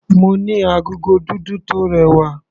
Mo ní agogo dúdú tó rẹwà.